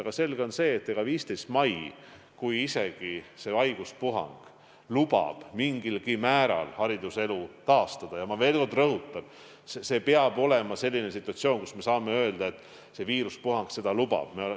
Aga selge on see, et isegi kui haiguspuhang lubab 15. mail mingilgi määral hariduselu taastada, siis – ma veel kord rõhutan – peab olema saabunud selline situatsioon, kus me saame öelda, et see viiruspuhang seda lubab.